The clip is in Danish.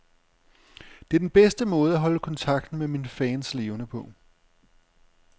Det er den bedste måde at holde kontakten med mine fans levende på.